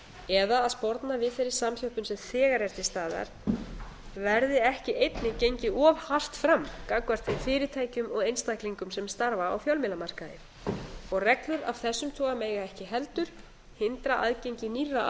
eða að sporna við þeirri samþjöppun sem þegar er til staðar verði ekki einnig gengið of hart fram gagnvart þeim fyrirtækjum og einstaklingum sem starfa á fjölmiðlamarkaði reglur af þessum toga mega ekki heldur hindra aðgengi nýrra